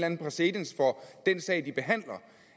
en præcedens for den sag de behandler